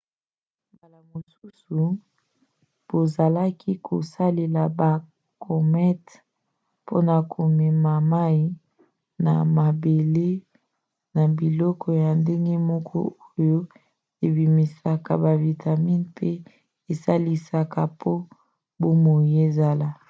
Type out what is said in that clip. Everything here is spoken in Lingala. mbala mosusu bazalaki kosalela bacomètes mpona komema mai na mabele na biloko ya ndenge moko oyo ebimisaka bavitamine mpe esalisaka po bomoi ezala